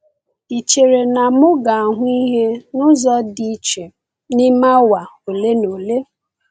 Ị chere na m ga-ahụ ihe n’ụzọ dị iche n’ime awa ole na ole?